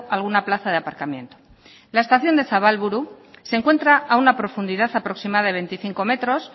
alguna plaza de aparcamiento la estación de zabalburu se encuentra a una profundidad aproximada de veinticinco metros